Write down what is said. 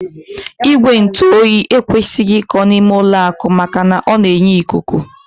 Igwe ntụoyi ekwesịghị iko n'ime ụlọakụ maka na ọ na-enye ikuku